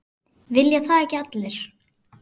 Vilja það ekki allir?